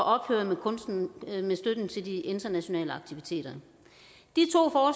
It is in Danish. ophøre med støtten til de internationale aktiviteter de